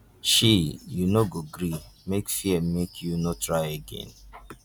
shee you no go gree make fear make you no try again